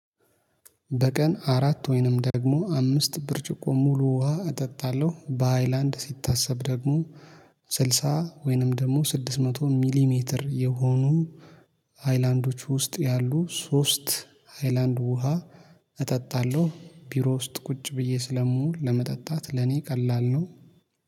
በቀን አራት ወይንም ደግሞ አምስት ብርጭቆ ሙሉ ውሃ እጠጣለሁ በሃይላንድ ሲታሰብ ደግሞ ስልሳ ወይንም ደግሞ ስድስት መቶ ሚሊሜትር የሆኑ ሀይላንዶች ውስጥ ያሉ ሶስት ሀይላንድ ውሃ እጠጣለሁ ቢሮ ውስጥ ቁጭ ብዬ ስለምውል ለመጠጣት ለኔ ቀላል ነው